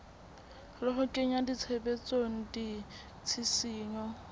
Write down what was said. le ho kenya tshebetsong ditshisinyo